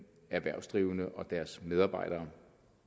erhvervsdrivende og deres medarbejdere